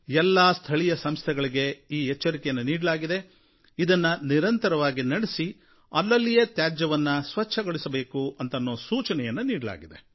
ಎಲ್ಲಾ ಸ್ಥಳೀಯ ಸಂಸ್ಥೆಗಳಿಗೆ ಈ ಎಚ್ಚರಿಕೆಯನ್ನು ನೀಡಲಾಗಿದೆ ಇದನ್ನು ನಿರಂತರವಾಗಿ ನಡೆಸಿ ಅಲ್ಲಲ್ಲಿಯೇ ತ್ಯಾಜ್ಯವನ್ನು ಸ್ವಚ್ಛಗೊಳಿಸಬೇಕು ಎಂದು ಸೂಚನೆಯನ್ನು ನೀಡಲಾಗಿದೆ